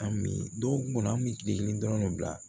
An mi don kɔnɔ an mi kile kelen dɔrɔn ne bila